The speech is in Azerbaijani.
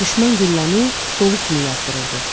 Düşmən gülləni dolu kimi yağdırırdı.